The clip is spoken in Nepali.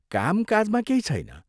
कामकाजमा केही छैन।